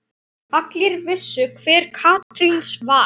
Allir vissu hver Karítas var.